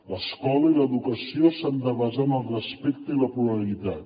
l’escola i l’educació s’han de basar en el respecte i la pluralitat